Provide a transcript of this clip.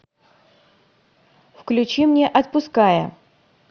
включи мне отпуская